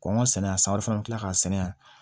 Kɔnkɔ sɛnɛ yan san o fɛn ti kila ka sɛnɛ yan